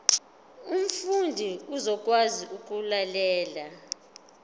umfundi uzokwazi ukulalela